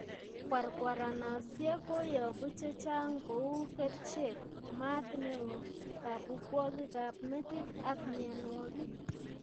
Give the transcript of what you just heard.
Kwarkwaranosiek koyobu chechang' kouu kercheek, maat neoo, kabukwogik ab metit ak mianwogik